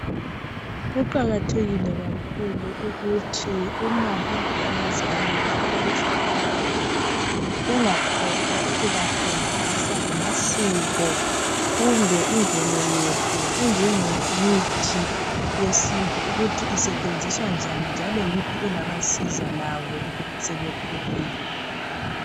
Kuqakathekile kakhulu ukuthi uma lapho abazali bekhulisa abantwana bengakhohlwa ukubafundisa ngamasiko kumbe imvelo yethu enjengemithi yesintu ukuthi isetshenziswa njani njalo yiphi engabasiza labo sebekhulile.